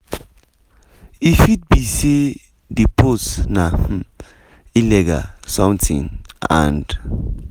e fit be say di post na um illegal something and